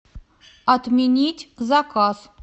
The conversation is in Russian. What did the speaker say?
отменить заказ